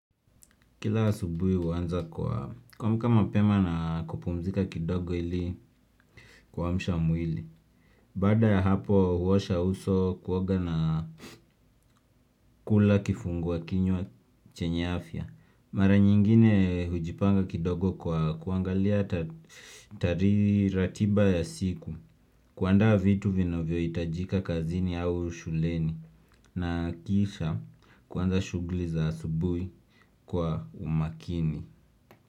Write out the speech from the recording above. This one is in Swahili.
Kila asubuhi uanza kwa kuamka mapema na kupumzika kidogo ili kuamsha mwili. Baada ya hapo huosha uso kuoga na kula kifungua kinywa chenye afya. Mara nyingine hujipanga kidogo kwa kuangalia ratiba ya siku kuandaa vitu vinavyo hitajika kazini au shuleni na kisha kuanza shugli za asubui kwa umakini.